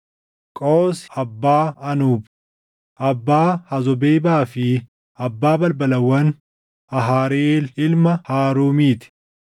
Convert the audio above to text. Qoosi abbaa Anuub, abbaa Hazobeebaa fi abbaa balbalawwan Ahariheel ilma Haaruumiti.